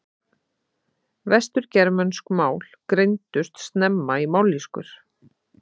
Vestur-germönsk mál greindust snemma í mállýskur.